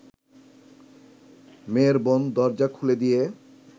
মেয়ের বোন দরজা খুলে দিয়ে